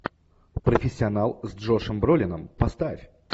профессионал с джошем бролином поставь